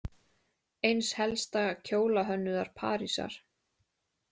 Eins helsta kjólahönnuðar Parísar.